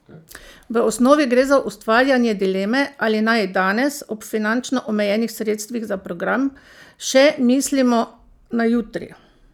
V osnovi gre za ustvarjanje dileme, ali naj danes, ob finančno omejenih sredstvih za program, še mislimo na jutri?